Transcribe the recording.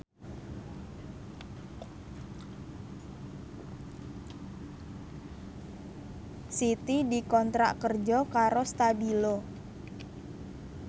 Siti dikontrak kerja karo Stabilo